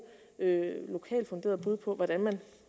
lokalt funderede bud på hvordan